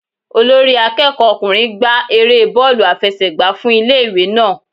Olórí akẹ́kọ̀ọ́ ọkùnrin gba erée bóòlù àfẹsẹ̀gbá fún ilé ìwé náà.